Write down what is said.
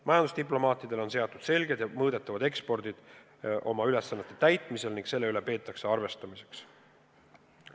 Majandusdiplomaatidele on seatud selged ja mõõdetavad eesmärgid nende ülesannete täitmisel ning selle üle peetakse arvestust.